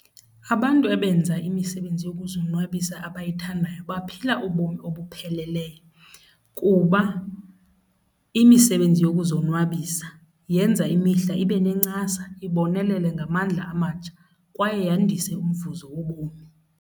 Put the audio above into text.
Abantu abenza imisebenzi yokuzonwabisa abayithandayo baphila ubomi obupheleleyo kuba imisebenzi yokuzonwabisa yenza imihla ibe nencasa, ibonelele ngamandla amatsha kwaye yandise umvuzo wobomi.